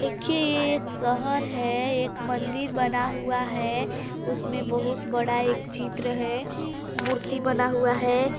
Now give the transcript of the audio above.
देखिए यह एक शहर है एक मंदिर बना हुआ है उसमें बहुत बड़ा एक चित्र है मूर्ति बना हुआ है।